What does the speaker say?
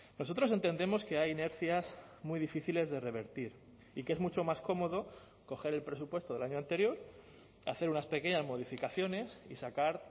nosotros entendemos que hay inercias muy difíciles de revertir y que es mucho más cómodo coger el presupuesto del año anterior hacer unas pequeñas modificaciones y sacar